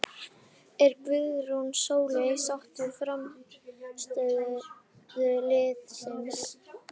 Er Guðrún Sóley sátt við frammistöðu liðsins?